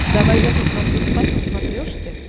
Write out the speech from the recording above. давай я посмотрю спас на смотрешке